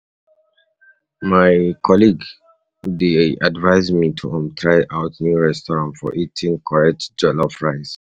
My colleague colleague dey advise me to um try out new restaurant for eating correct um jollof rice.